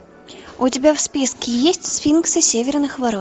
у тебя в списке есть сфинксы северных ворот